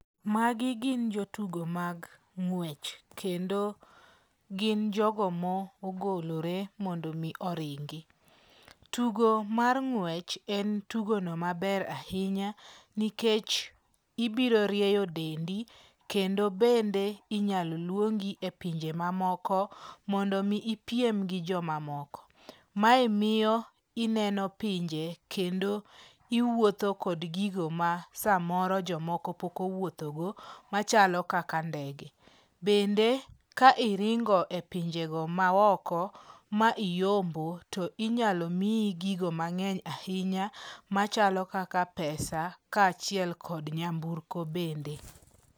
Magi gin jootugo mag ng'wech. Kendo gin jogo mogolore mondo mi oringi. Tugo mar ng'wech en tugono maber ahinya nikech ibiro rieyo dendi kendo bende inyalo luongi e pinje mamoko mondo mi ipiem gi joma moko. Mae miyo ineno pinje kendo iwuotho kod gigo ma samoro jomoko pok owuotho go machalo kaka ndege. Bende ka iringo e pinje go ma oko ma iyombo to inyalo miyi gigo mang'eny ahinya machalo kaka pesa ka achiel kod nyamburko bende.